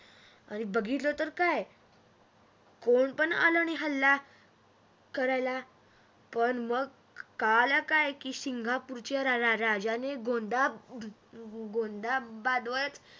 आणि बघितलं तर काय कोनिपण आलं नाही हल्लाकरायला पण मग कळालं काय की सिंगापूरच्या राजाने गोंधाबादवर